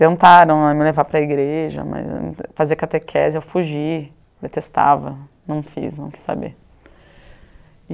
Tentaram me levar para a igreja mas eu, fazer catequese, eu fugi, detestava, não fiz, não quis saber.